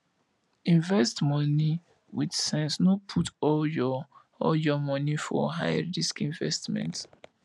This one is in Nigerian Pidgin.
invest money with sense no put all your all your money for high risk investment